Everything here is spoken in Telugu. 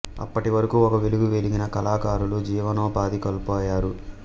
అప్పటి వరకు ఒక వెలుగు వెలిగిన కళాకారులు జీవనోపాధి కోల్పోయారు